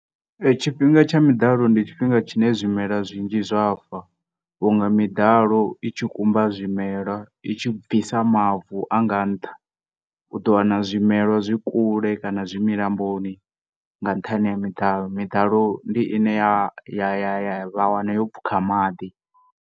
Tshifhinga tsha miḓalo ndi tshifhinga zwine zwimela zwinzhi zwa fa vhunga miḓalo i tshi kumba zwimela i tshi bvisa mavu anga nṱha u ḓo wana zwimela zwi kule kana zwi milamboni nga nṱhane ha miḓalo miḓalo ndi ine ya ya vha wana pfuka maḓi.